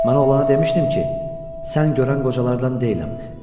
Mən oğlana demişdim ki, sən görən qocalardan deyiləm.